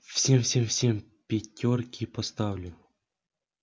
всем всем всем пятёрки поставлю